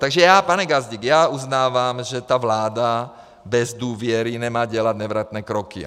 Takže já, pane Gazdík, já uznávám, že ta vláda bez důvěry nemá dělat nevratné kroky.